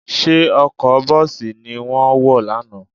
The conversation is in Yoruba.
Ṣé ọkọ̀ bọ́ọ̀sì ni wọ́n wọ̀ lánàá?